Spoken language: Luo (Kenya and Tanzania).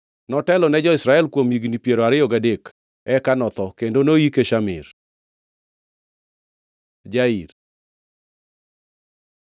Notelo ne Israel kuom higni piero ariyo gadek; eka notho, kendo noyike Shamir. Jair